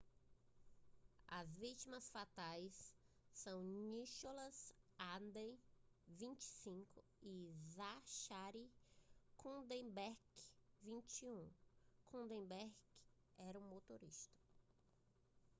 as vítimas fatais são nicholas alden 25 e zachary cuddeback 21 cuddeback era o motorista